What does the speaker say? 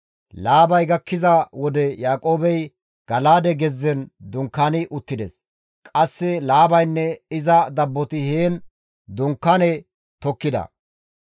Laabay gakkiza wode Yaaqoobey Gala7aade gezzen dunkaani uttides; qasse Laabaynne iza dabboti heen dunkaane tokkida.